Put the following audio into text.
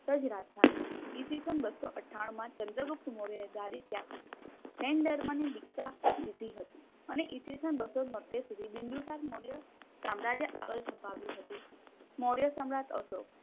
પર રાજધાની હતી. ઈ. સ. બસો અથાણુંમાં ચન્દ્રગુપ્ત મોર્ય એ ગાદી ત્યાગ કરી. જૈનધર્મની દીક્ષા લીધી હતી. અને ઈ. સ. બસો તોતેર શુદ્ધિ બિંદુ સાર મોર્ય સામ્રાજ્ય આગળ છપાયું હતું. મોર્ય સમ્રાટ અશોક